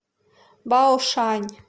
баошань